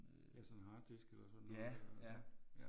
Ja sådan en harddisk eller sådan noget